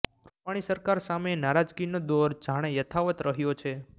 રૂપાણી સરકાર સામે નારાજગીનો દોર જાણે યથાવત રહ્યો છે